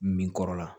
Min kɔrɔ la